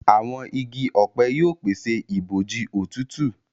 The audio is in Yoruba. Àwọn ìgi ọpẹ yóò pese ibojì òtútù.